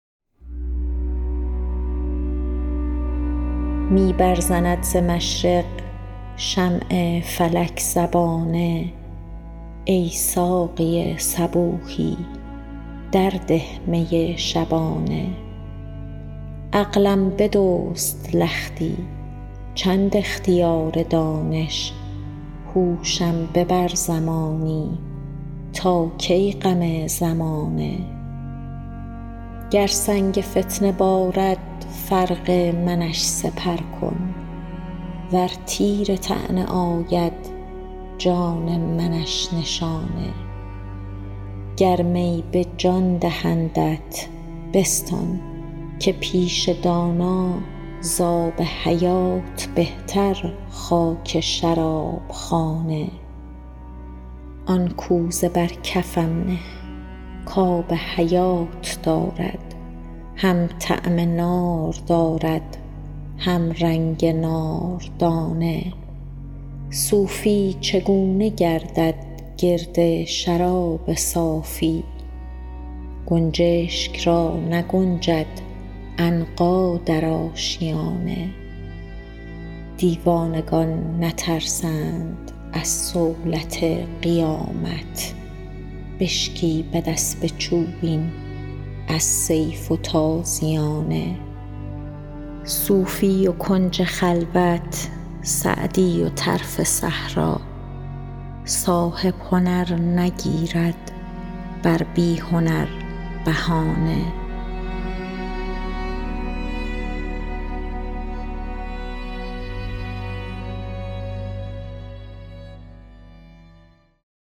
می برزند ز مشرق شمع فلک زبانه ای ساقی صبوحی در ده می شبانه عقلم بدزد لختی چند اختیار دانش هوشم ببر زمانی تا کی غم زمانه گر سنگ فتنه بارد فرق منش سپر کن ور تیر طعنه آید جان منش نشانه گر می به جان دهندت بستان که پیش دانا زآب حیات بهتر خاک شراب خانه آن کوزه بر کفم نه کآب حیات دارد هم طعم نار دارد هم رنگ ناردانه صوفی چگونه گردد گرد شراب صافی گنجشک را نگنجد عنقا در آشیانه دیوانگان نترسند از صولت قیامت بشکیبد اسب چوبین از سیف و تازیانه صوفی و کنج خلوت سعدی و طرف صحرا صاحب هنر نگیرد بر بی هنر بهانه